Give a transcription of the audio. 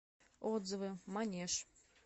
отзывы манеж